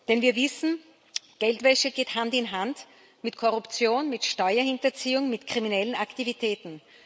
Denn wir wissen, Geldwäsche geht Hand in Hand mit Korruption, mit Steuerhinterziehung, mit kriminellen Aktivitäten.